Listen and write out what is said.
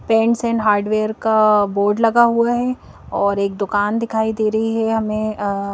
pants and hardware का board लगा हुआ है और एक दुकान दिखाई दे रही है हमें अ--